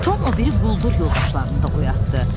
Tom o biri quldur yoldaşlarını da oyatdı.